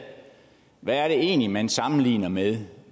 hvad er det egentlig man sammenligner med